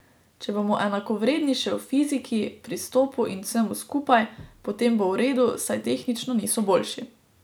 Če bomo enakovredni še v fiziki, pristopu in vsemu skupaj, potem bo v redu, saj tehnično niso boljši.